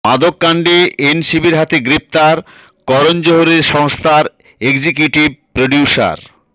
মাদককাণ্ডে এনসিবির হাতে গ্রেফতার করণ জোহরের সংস্থার এক্সিকিউটিভ প্রোডিউসার